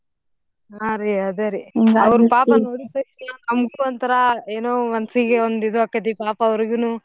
ಹಾರೀ ಅದೇರಿ ಪಾಪ ನೋಡಿದ್ ತಕ್ಷಣಯೇ ನಮ್ಗೂ ಒಂಥರಾ ಏನೋ ಮನ್ಸೀಗೆ ಒಂದ್ ಇದು ಆಕತಿ ಪಾಪ್ ಅವ್ರಿಗುನೂ.